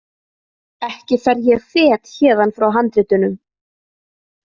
Ekki fer ég fet héðan frá handritunum!